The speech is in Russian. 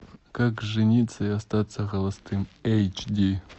как жениться и остаться холостым эйч ди